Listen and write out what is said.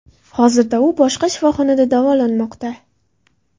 Hozirda u boshqa shifoxonada davolanmoqda.